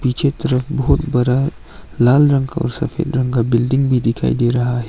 पीछे तरफ बहुत बड़ा लाल रंग का और सफेद रंग का बिल्डिंग भी दिखाई दे रहा है।